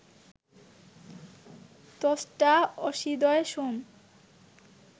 ত্বষ্টা অশ্বীদ্বয়, সোম